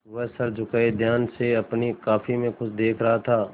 वह सर झुकाये ध्यान से अपनी कॉपी में कुछ देख रहा था